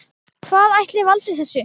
Hvað ætli valdi þessu?